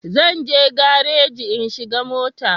Zan je garaji in shiga mota